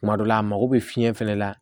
Kuma dɔ la a mago bɛ fiɲɛ fɛnɛ la